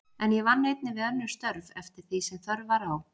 En ég vann einnig við önnur störf, eftir því sem þörf var á.